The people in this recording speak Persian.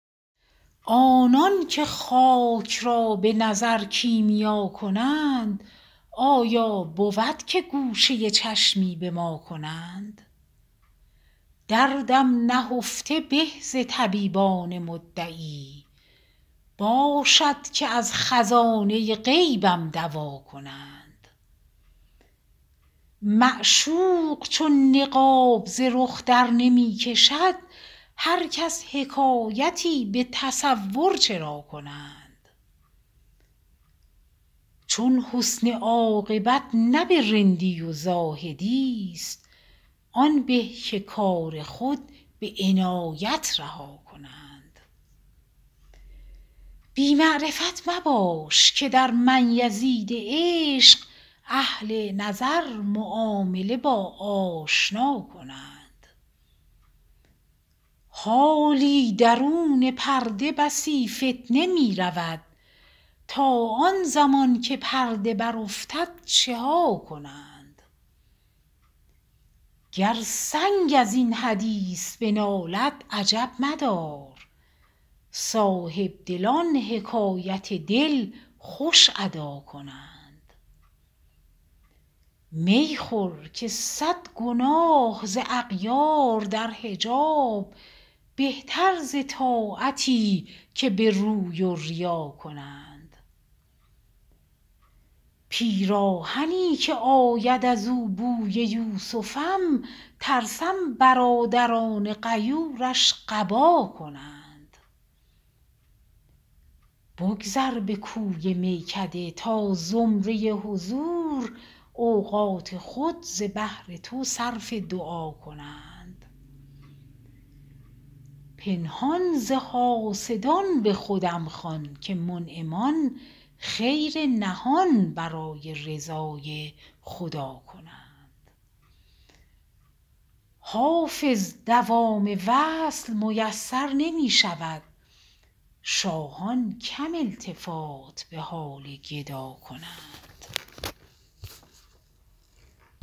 آنان که خاک را به نظر کیمیا کنند آیا بود که گوشه چشمی به ما کنند دردم نهفته به ز طبیبان مدعی باشد که از خزانه غیبم دوا کنند معشوق چون نقاب ز رخ درنمی کشد هر کس حکایتی به تصور چرا کنند چون حسن عاقبت نه به رندی و زاهدی ست آن به که کار خود به عنایت رها کنند بی معرفت مباش که در من یزید عشق اهل نظر معامله با آشنا کنند حالی درون پرده بسی فتنه می رود تا آن زمان که پرده برافتد چه ها کنند گر سنگ از این حدیث بنالد عجب مدار صاحبدلان حکایت دل خوش ادا کنند می خور که صد گناه ز اغیار در حجاب بهتر ز طاعتی که به روی و ریا کنند پیراهنی که آید از او بوی یوسفم ترسم برادران غیورش قبا کنند بگذر به کوی میکده تا زمره حضور اوقات خود ز بهر تو صرف دعا کنند پنهان ز حاسدان به خودم خوان که منعمان خیر نهان برای رضای خدا کنند حافظ دوام وصل میسر نمی شود شاهان کم التفات به حال گدا کنند